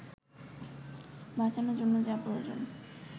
বাঁচানোর জন্য যা প্রয়োজন